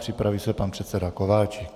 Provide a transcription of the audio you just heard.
Připraví se pan předseda Kováčik.